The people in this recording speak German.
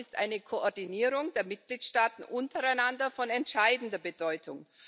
Dazu ist eine Koordinierung der Mitgliedstaaten untereinander von entscheidender Bedeutung.